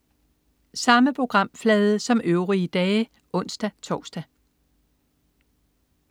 Samme programflade som øvrige dage (ons-tors)